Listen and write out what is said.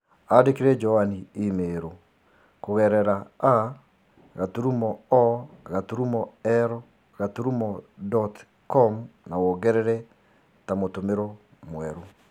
Andĩkĩre Joanne i-mīrū kũgerera a. o. l. dot com na wongerere ta mũtũmirũo mwerũ